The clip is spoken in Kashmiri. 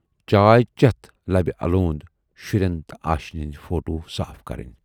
چائے چٮ۪تھ لبہِ الوند شُرٮ۪ن تہٕ آشینۍ ہٕندۍ فوٹو صاف کَرٕنۍ۔